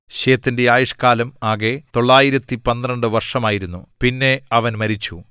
ശേത്തിന്റെ ആയുഷ്കാലം ആകെ 912 വർഷമായിരുന്നു പിന്നെ അവൻ മരിച്ചു